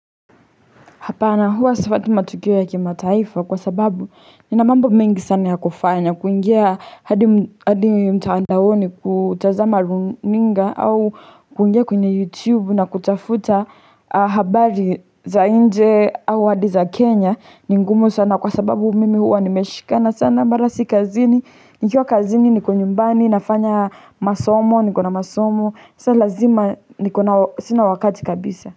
Hapana huwa safuati matukio ya kimataifa kwa sababu nina mambo mengi sana ya kufanya kuingia hadi mtandaoni kutazama runinga au kuingia kwenye youtube na kutafuta habari za inje au hadi za kenya ni ngumu sana kwa sababu mimi huwa nimeshikana sana mara si kazini nikiwa kazini niko nyumbani nafanya masomo niko na masomo sa lazima niko na sina wakati kabisa.